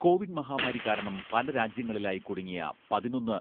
Covid മഹാമാരി കാരണം പലരാജ്യങ്ങളിലായി കുടുങ്ങിയ പതിനൊന്ന്